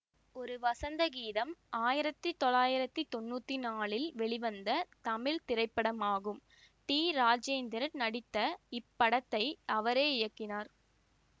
ஒரு வசந்த கீதம் ஆயிரத்தி தொள்ளாயிரத்தி தொன்னூத்தி நாலில் வெளிவந்த தமிழ் திரைப்படமாகும் டி ராஜேந்தர் நடித்த இப்படத்தை அவரே இயக்கினார்